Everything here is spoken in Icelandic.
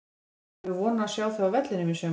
Eigum við von á að sjá þig á vellinum í sumar?